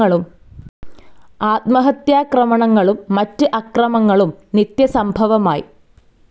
ആത്മഹത്യാക്രമണങ്ങളും മറ്റ് അക്രമങ്ങളും നിത്യസംഭവമായി.